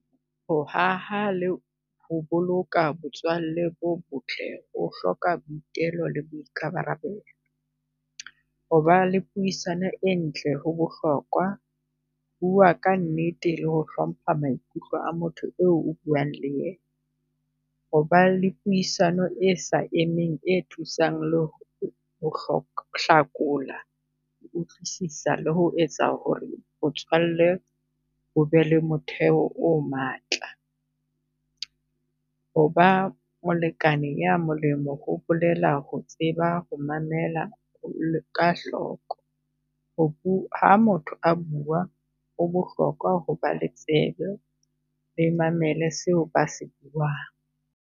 Ho haha le ho boloka botswalle bo botle o hloka boitelo le boikabarabelo. Ho ba le puisano e ntle ho bohlokwa, bua ka nnete le ho hlompha maikutlo a motho eo o buang le ena. Ho ba le puisano e sa emeng e thusang ho hlakola, ho utlwisisa le ho etsa ho re botswalle o be le motheo o matla. Ho ba molekane ya molemi ho bolela ho tseba ho mamela ka hloko, ho ha motho a bua o bohlokwa ho ba le tsebe le mamele seo ba se buang.